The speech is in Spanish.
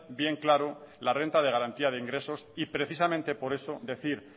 bien claro la renta de garantía de ingresos y precisamente por eso decir